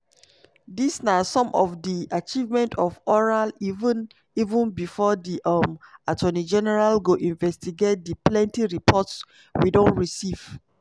"dis na some of di achievement of oral even even bifor di um attorney general go investigate di plenti reports we don receive."